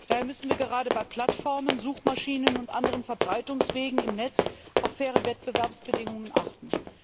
Daher müssen wir gerade bei Plattformen, Suchmaschinen und anderen Verbreitungswegen im Netz auf faire Wettbewerbsbedingungen achten.